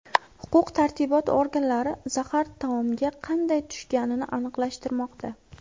Huquq-tartibot organlari zahar taomga qanday tushganini aniqlashtirmoqda.